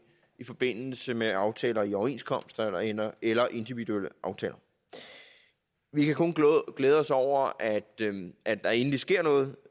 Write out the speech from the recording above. i forbindelse med aftaler i overenskomster eller eller individuelle aftaler vi kan kun glæde os over at at der endelig sker noget